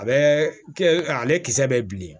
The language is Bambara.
A bɛ kɛ ale kisɛ bɛ bilen